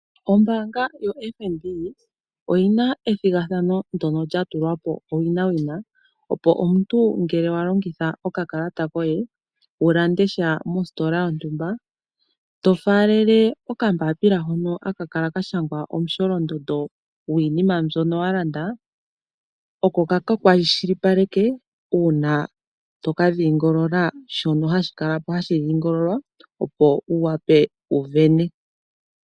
Ombaanga yoFNB oyi na ethigathano ndyono lya tulwa po owinawina, opo omuntu ngele wa longitha okakalata koye wu lande sha mositola yontumba, to faalele okambaapila hono haka kala ka shangwa omusholondondo gwiinima mbyono wa landa oko ka ka kwashilipaleke uuna to ka dhingolola shono hashi kala po tashi dhingolokithwa, opo wu wape wu sindane.